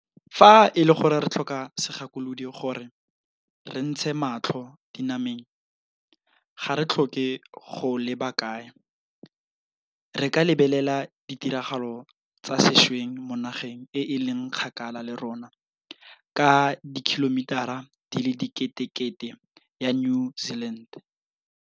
Fa e le gore re tlhoka segakolodi gore re ntshe matlho dinameng, ga re tlhoke go leba kae, re ka lebelela ditiragalo tsa sešweng mo nageng e e leng kgakala le rona ka dikhilomitara di le diketekete ya New Zealand.